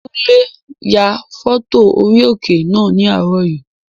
Kúnlé ya fọ́tò orí òkè náà ní àárọ̀ yìí